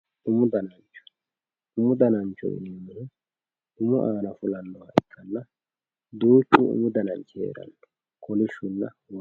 umu danancho umu dananchi umu aana afamannoha ikkanna duuchu dani umu dananchi hee'ranno kolishshunna waajju.